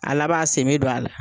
A laba a sen be do a la.